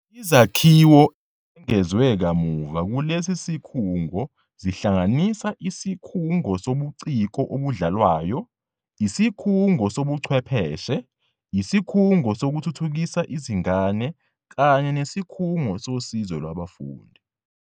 Izakhiwo ezengezwe kamuva kulesi sikhungo zihlanganisa isikhungo sobuciko obudlalwayo, isikhungo sobuchwepheshe, isikhungo sokuthuthukisa izingane kanye nesikhungo sosizo lwabafundi.